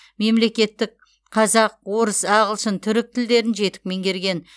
мемлекеттік қазақ орыс ағылшын түрік тілдерін жетік меңгерген